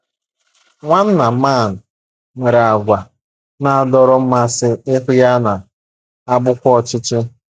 Nwanna Mann nwere àgwà na - adọrọ mmasị, ihu ya na - abụkwa ọchị ọchị.